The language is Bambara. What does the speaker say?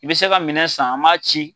I bi se ka minɛ san an ma ci.